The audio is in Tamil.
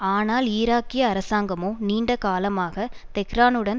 ஆனால் ஈராக்கிய அரசாங்கமோ நீண்ட காலமாக தெஹ்ரானுடன்